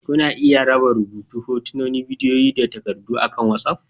Kuna iya raba rubutu, hotuna, bidiyo da takardu akan WhatsApp